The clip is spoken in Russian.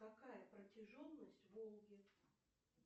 какая протяженность волги